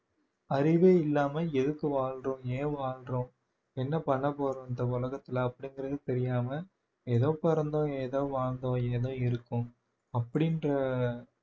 அறிவே இல்லாமல் எதுக்கு வாழுறோம் ஏன் வாழ்றோம் என்ன பண்ண போறோம் இந்த உலகத்திலே அப்படிங்கிறது தெரியாமல் ஏதோ பிறந்தோம் ஏதோ வாழ்ந்தோம் ஏதோ இருக்கோம் அப்படின்ற